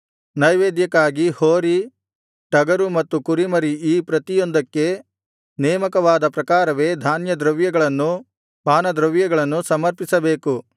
ನೈವೇದ್ಯಕ್ಕಾಗಿ ಹೋರಿ ಟಗರು ಮತ್ತು ಕುರಿಮರಿ ಈ ಪ್ರತಿಯೊಂದಕ್ಕೆ ನೇಮಕವಾದ ಪ್ರಕಾರವೇ ಧಾನ್ಯದ್ರವ್ಯಗಳನ್ನೂ ಪಾನದ್ರವ್ಯಗಳನ್ನೂ ಸಮರ್ಪಿಸಬೇಕು